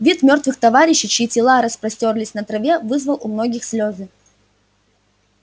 вид мёртвых товарищей чьи тела распростёрлись на траве вызвал у многих слёзы